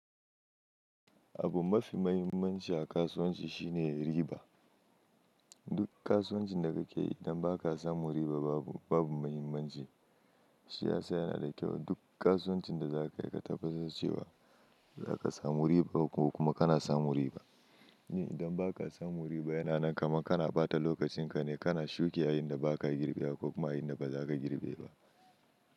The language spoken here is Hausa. Abu mafi mahimmanci a kasuwanci shine riba. Duk kasuwancin da kake yi idan ba ka samu riba babu mahimmanci. Shi ya sa yana da kyau duk kasuwancin da za ka yi ka tabbatar cewa za ka samu riba ko kuma ka na samun riba. Ni idan ba ka samu riba yana nan kama ka na ba ta lokacin ka ne, ka na shuke a inda ba ka girbe ba ko kuma a inda ba za ka girbe ba.